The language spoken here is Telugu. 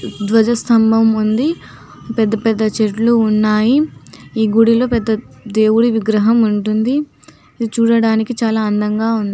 ధ్వజస్తంభం ఉందిపెద్ద పెద్ద చెట్లు ఉన్నాయిఈ గుడిలో పెద్ద దేవుడి విగ్రహం వుంటుందిఇది చూడడానికి చాలా అందంగా ఉన్నాయి